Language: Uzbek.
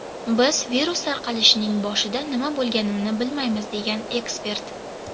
Biz virus tarqalishining boshida nima bo‘lganini bilmaymiz”, degan ekspert.